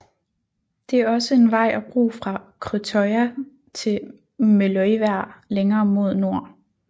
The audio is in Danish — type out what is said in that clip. Det er også en vej og bro fra Krøttøya til Meløyvær længere mod nord